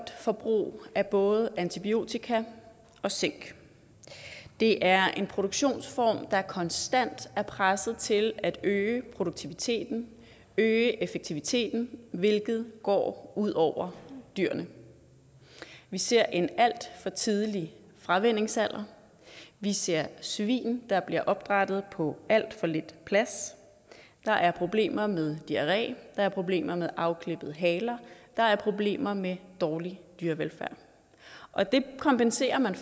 forbrug af både antibiotika og zink det er en produktionsform der konstant er presset til at øge produktiviteten øge effektiviteten hvilket går ud over dyrene vi ser en alt for tidlig fravænningsalder vi ser svin der bliver opdrættet på alt for lidt plads der er problemer med diarré der er problemer med afklippede haler der er problemer med dårlig dyrevelfærd og det kompenserer man